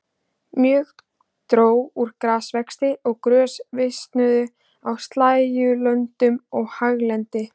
Mjög dró úr grasvexti og grös visnuðu á slægjulöndum og haglendi.